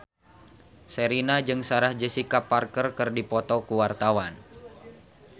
Sherina jeung Sarah Jessica Parker keur dipoto ku wartawan